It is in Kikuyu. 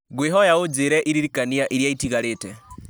ngũkwĩhoya ũnjĩre iririkania iria itigarĩte